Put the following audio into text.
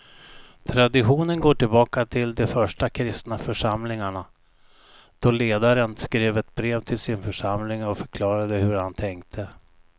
Traditionen går tillbaka till de första kristna församlingarna då ledaren skrev ett brev till sin församling och förklarade hur han tänkte.